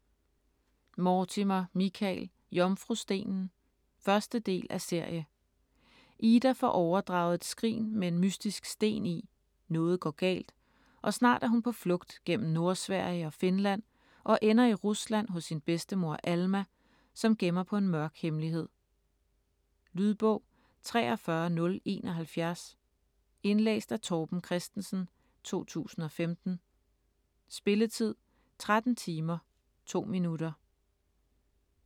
Mortimer, Michael: Jomfrustenen 1. del af serie. Ida får overdraget et skrin med en mystisk sten i, noget går galt, og snart er hun på flugt gennem Nordsverige og Finland og ender i Rusland hos sin bedstemor Alma, som gemmer på en mørk hemmelighed. Lydbog 43071 Indlæst af Torben Christensen, 2015. Spilletid: 13 timer, 2 minutter.